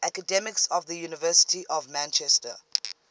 academics of the university of manchester